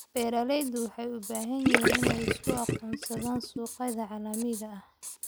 Beeraleydu waxay u baahan yihiin inay isku aqoonsadaan suuqyada caalamiga ah.